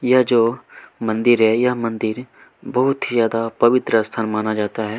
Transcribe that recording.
यह जो मंदिर है यह मंदिर बहुत ही ज्यादा पवित्र स्थान माना जाता है।